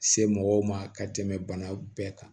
Se mɔgɔw ma ka tɛmɛ bana bɛɛ kan